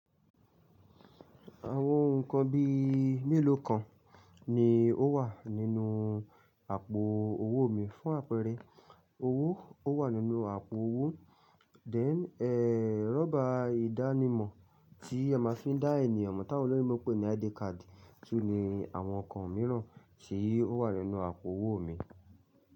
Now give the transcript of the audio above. Àwọn ohun kan bíi mélòó kan ni ó wà nínú àpò owó mi fún àpẹẹrẹ owó, ó wà nínú àpò owó. Then, eh, rọ́bà ìdánimọ̀ tí ẹ máa fi ń dá ènìyàn mọ̀ táwọn olóyinbo máa ń pè ní ID card tún ni àwọn nnkan mìíràn ti o wà nínú àpò owó mi.